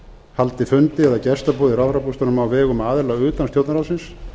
haldi fundi eða gestaboð í ráðherrabústaðnum á vegum aðila utan stjórnarráðsins